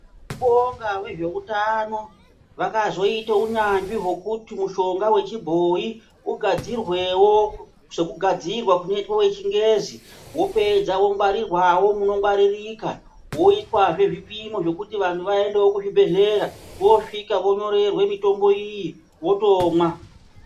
Tinobonga vezveutano vakazoita unyanzvi hwekuti mishonga wechibhoyi ugadzirwewo sekugadzirwa sekugadzirwa kunoitwe wechingezi wopedze wongwarirwawo munongwaririka woitwazve zvipimo zvekuti vantu vaendewo kuzvebhedhlera vosvika vonyorerwe mitombo iyi votomwa.